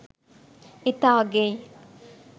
ඉතා අගෙයි